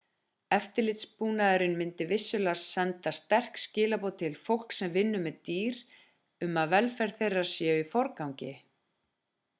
eftirlitsbúnaðurinn myndi vissulega senda sterk skilaboð til fólks sem vinnur með dýr um að velferð þeirra sé í forgangi